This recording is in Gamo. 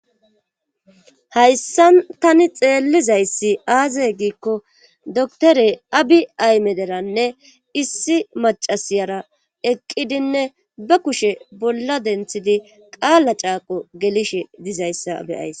Hayssan tani xeellizayssi aaze giikko dotore abi aymederanne issi macasiyara eqqidinne ba kushe bolla denthidi qaala caaqo gelishe dizayssa abeyays